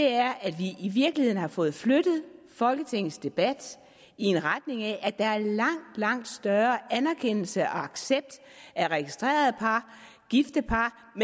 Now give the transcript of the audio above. er at vi i virkeligheden har fået flyttet folketingets debat i retning af at der er langt langt større anerkendelse og accept af registrerede par gifte par